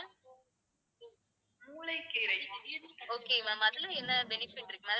okay ma'am அதுல என்ன benefit இருக்கு ma'am